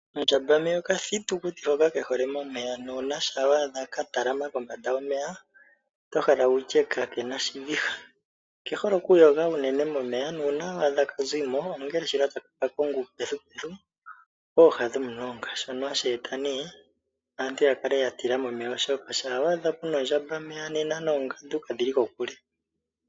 Okandjambameya okathitukuti hoka ke hole momeya ano shampa wa adha ka talama kombanda yomeya oto hala wutye ka kena oshiviha. Oke hole unene oku yoga momeya, nuuna wa adha ka zimo ongele shila taka ka konga uukulya wako kooha dhomulonga, shono hashi e ta nee aantu ya kale ya tila momeya oshoka shampa wa adha puna ondjambameya nena noongandu kadhi li kokule.